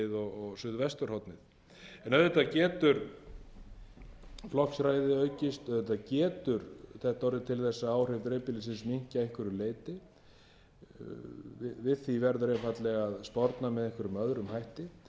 og suðvesturhornið auðvitað getur flokksræðið aukist auðvitað getur þetta orðið til að áhrif dreifbýlisins minnki að einhverju leyti við því verður einfaldlega að sporna með einhverjum hætti en